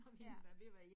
Ja